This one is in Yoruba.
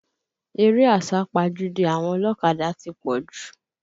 Eré àsápajúdé àwọn ọlọ́kadà ti pọ̀ jù